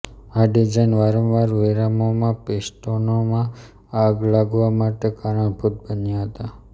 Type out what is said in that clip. આ ડિઝાઇન વારંવાર વિરામોમાં પિસ્ટોનમાં આગ લાગવા માટે કારણભૂત બન્યા હતા